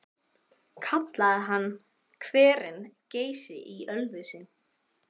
Kallaði hann hverinn Geysi í Ölfusi.